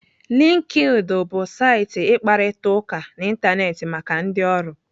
LinkedIn bụ saịtị ịkparịta ụka n'Ịntanetị maka ndị ọrụ.